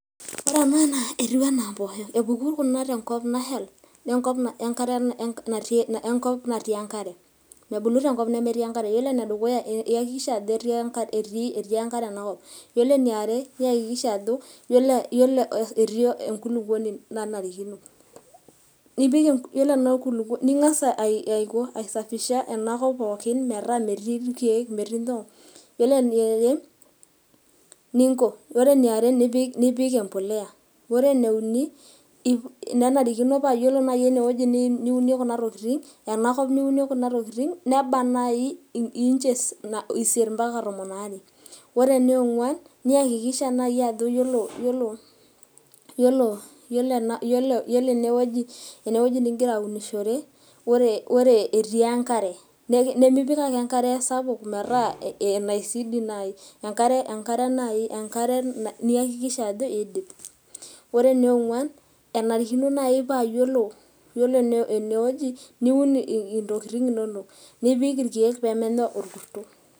ore ena naa etiu anaa mppoho. epuku tenkop naheita, enkop natii enkare, mebulu tenkop nemetii enkare. ore ene dukuya iyakikisha ajo, etii enkare ena kop, iyiolo eniare, niyakikisha ajo etii enkulupuoni nanarikinoiyiolo ena enakulukuoni, ning'as aisafisha ena kop pookin metaa metii irkeek. iyiolo eniare, ninko, nipik empuliya, ore eneiuni, nenarikino paa ore naaji, niyieu niunie kuna tokitin, ena kop niunie kuna tokitin neba naai inches isiet mpaka tomon aare. ore eniong'uan niyakiksha naaji ajo, iyiolo, ene wueji ,nigira aunishore, ore etii enkare. nemipik ake enkare sapuk metaa. enkare niyakikisha ajo kidip.